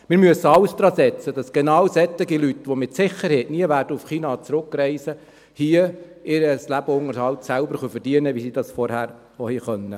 Wir müssen alles daransetzen, damit genau solche Leute, die mit Sicherheit nie nach China werden zurückreisen können, hier ihren Lebensunterhalt selbst verdienen können, wie sie das zuvor auch konnten.